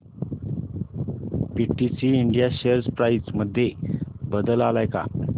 PTC India share price मध्ये बदल आलाय का